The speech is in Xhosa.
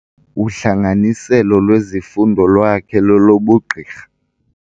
Uhlanganiselo lwezifundo lwakhe lolobugqirha.